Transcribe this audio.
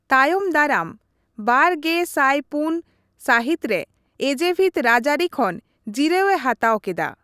ᱛᱟᱭᱚᱢ ᱫᱟᱨᱟᱢ ᱒᱐᱐᱔ ᱥᱟᱹᱦᱤᱛ ᱨᱮ ᱮᱡᱮᱵᱷᱤᱛ ᱨᱟᱡᱽᱟᱹᱨᱤ ᱠᱷᱚᱱ ᱡᱤᱨᱟᱹᱣᱮ ᱦᱟᱛᱟᱣ ᱠᱮᱫᱟ ᱾